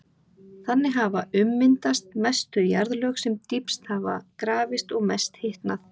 Þannig hafa ummyndast mest þau jarðlög sem dýpst hafa grafist og mest hitnað.